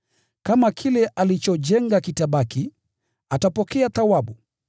Kama kile alichojenga kitabaki, atapokea thawabu yake.